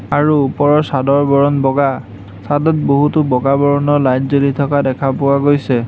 আৰু ওপৰৰ চাদৰ বৰণ বগা চাদত বহুতো বগা বৰণৰ লাইট জ্বলি থকা দেখা পোৱা গৈছে।